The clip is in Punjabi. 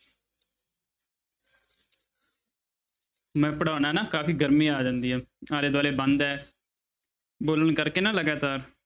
ਮੈਂ ਪੜ੍ਹਾਉਨਾ ਨਾ ਕਾਫ਼ੀ ਗਰਮੀ ਆ ਜਾਂਦੀ ਹੈ ਆਲੇ ਦੁਆਲੇ ਬੰਦ ਹੈ ਬੋਲਣ ਕਰਕੇ ਨਾ ਲਗਾਤਾਰ।